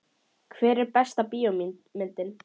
Hver er besta bíómyndin?